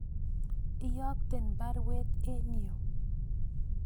Iyokten baruet en yu